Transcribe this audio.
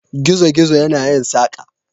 Gizo-gizo yana yin saƙa.